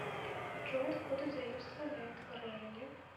джой откуда заимствовано это выражение